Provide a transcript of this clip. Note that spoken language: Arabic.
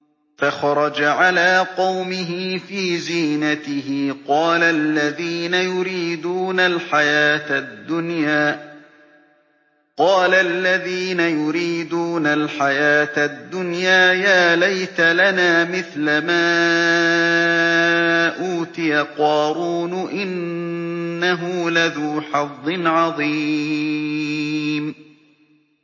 فَخَرَجَ عَلَىٰ قَوْمِهِ فِي زِينَتِهِ ۖ قَالَ الَّذِينَ يُرِيدُونَ الْحَيَاةَ الدُّنْيَا يَا لَيْتَ لَنَا مِثْلَ مَا أُوتِيَ قَارُونُ إِنَّهُ لَذُو حَظٍّ عَظِيمٍ